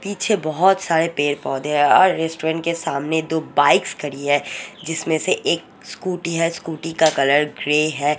पीछे बहुत सारे पेड़ पौधे है और रेस्टोरेंट के सामने दो बाइक्स खड़ी है जिसमें से एक स्कूटी है स्कूटी का कलर ग्रे है।